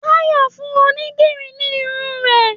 Táyọ̀ fún onídìrí ní irun rẹ̀.